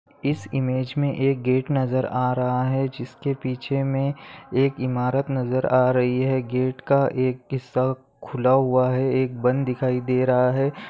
Image मे एक gate नजर आ रहा है जिसके पीछे मे एक इमारत नजर आ रही है गेट का एक हिस्सा खुला हुआ है एक बंद दिखाई दे रहा है।